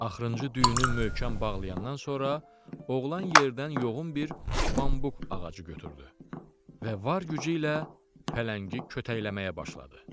Axırıncı düyünü möhkəm bağlayandan sonra oğlan yerdən yoğun bir bambuq ağacı götürdü və var gücü ilə pələngi kötəkləməyə başladı.